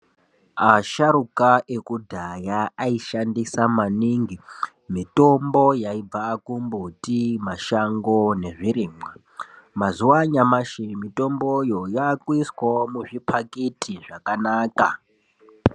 Asharuka ekudhaya aishandisa maningi mitombo yaibva kumbiti, mashango nezvirimwa mazuwa anyamashi mitomboyo yakuiswawo muzvipakiti zvakanaka.